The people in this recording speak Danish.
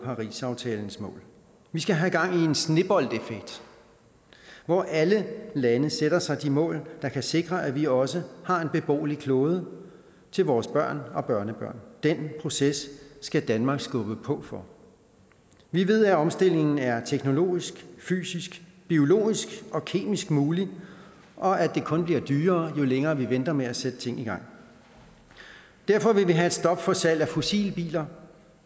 parisaftalens mål vi skal have gang i en sneboldeffekt hvor alle lande sætter sig de mål der kan sikre at vi også har en beboelig klode til vores børn og børnebørn den proces skal danmark skubbe på for vi ved at omstillingen er teknologisk fysisk biologisk og kemisk mulig og at det kun bliver dyrere jo længere vi venter med at sætte ting i gang derfor vil vi have et stop for salg af fossilbiler